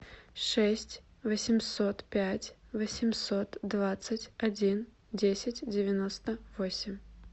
шесть восемьсот пять восемьсот двадцать один десять девяносто восемь